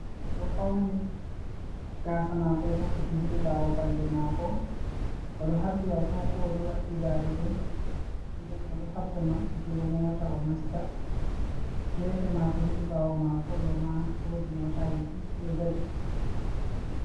Ɓodo fauni gasa mako ɗo rufiti hidi bawo balbe mako o do habbi adiko o ɗo waddi darude nden o ɗo habda mabbutugo mota o nasta gefe mako, hedi ɓawo mako ɗo ma wodi motaji diɗo dadi.